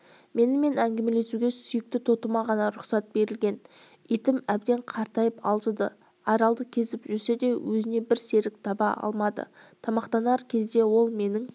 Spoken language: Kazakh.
менімен әңгімелесуге сүйікті тотыма ғана рұқсат берілген итім әбден қартайып алжыды аралды кезіп жүрсе де өзіне бір серік таба алмады тамақтанар кезде ол менің